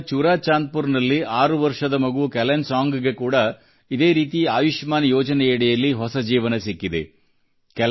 ಮಣಿಪುರದ ಚುರಾ ಚಾಂದ್ ಪುರದಲ್ಲಿ ಆರು ವರ್ಷ ಮಗು ಕೆಲೆನ್ ಸಾಂಗ್ ಗೆ ಕೂಡ ಇದೇ ರೀತಿ ಆಯುಷ್ಮಾನ್ ಯೋಜನೆ ಅಡಿಯಲ್ಲಿ ಹೊಸ ಜೀವನ ಸಿಕ್ಕಿದೆ